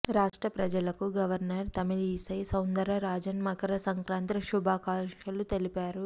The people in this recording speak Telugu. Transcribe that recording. రాష్ట్ర ప్రజలకు గవర్నర్ తమిళి సై సౌందరరాజన్ మకరసంక్రాంతి శుభాకాంక్షలు తెలిపారు